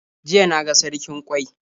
Jiya na ga sarkin ƙwai.